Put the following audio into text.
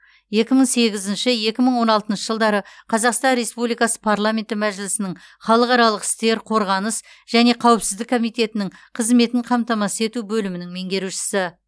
екі мың сегізінші екі мың он алтыншы жылдары қазақстан республикасы парламенті мәжілісінің халықаралық істер қорғаныс және қауіпсіздік комитетінің қызметін қамтамасыз ету бөлімінің меңерушісі